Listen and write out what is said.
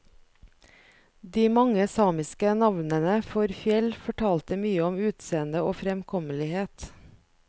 De mange samiske navnene for fjell fortalte mye om utseende og fremkommelighet.